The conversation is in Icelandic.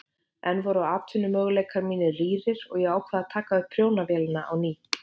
Enn voru atvinnumöguleikar mínir rýrir og ég ákvað að taka upp prjónavélina á ný.